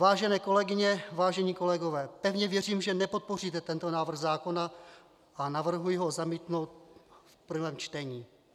Vážené kolegyně, vážení kolegové, pevně věřím, že nepodpoříte tento návrh zákona, a navrhuji ho zamítnout v prvém čtení.